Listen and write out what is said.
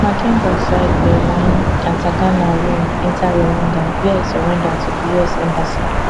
makenga side bin wine and ntaganda run enta rwanda wia e surrender to di us embassy